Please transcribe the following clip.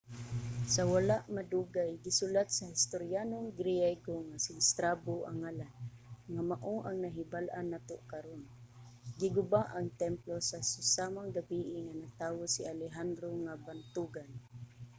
sa wala madugay gisulat sa historyanong griego nga si strabo ang ngalan nga mao ang nahibal-an nato karon. giguba ang templo sa susamang gabii nga natawo si alejandro nga bantogan